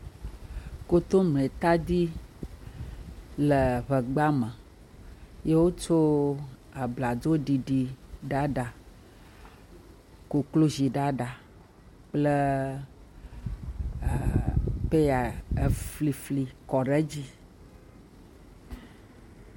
Komletadi le ŋegba me ye wotso abladzoɖiɖiɖaɖa, kokloziɖaɖa kple a pɛya eflifli kɔ ɖe edzi.